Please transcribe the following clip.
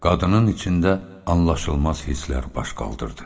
Qadının içində anlaşılmaz hisslər baş qaldırdı.